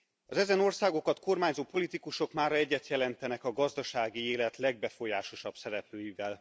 Az ezen országokat kormányzó politikusok mára egyet jelentenek a gazdasági élet legbefolyásosabb szereplőivel.